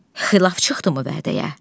Xilaf çıxdımı vədəyə?